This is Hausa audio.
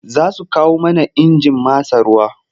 Za su kawo mana injin matsa ruwa.